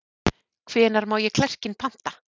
Hvenær má ég klerkinn panta?